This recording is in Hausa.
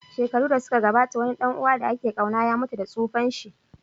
Shekaru da suka gabata, wani ɗan uwa da ake ƙauna ya mutu da tsufanshi.